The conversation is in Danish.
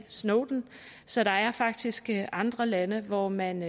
snowden så der er faktisk andre lande hvor man